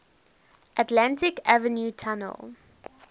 atlantic avenue tunnel